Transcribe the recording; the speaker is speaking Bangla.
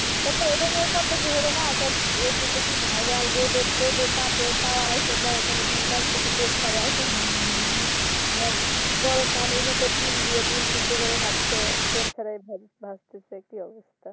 কত এটা নিয়ে কত কি হলো না সব . Viral রোদের তাপে তারা এসে দেখে ডিম ভাজছে তেল ছাড়াই গরম ফ্যানের ভেতর ডিম দিয়া ডিম সেদ্ধ করে খাচ্ছে তেল ছাড়াই ভাজছে কি অবস্থা